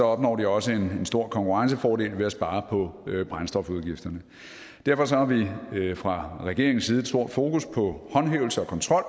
opnår de også en stor konkurrencefordel ved at spare på brændstofudgifterne derfor har vi fra regeringens side et stort fokus på håndhævelse og kontrol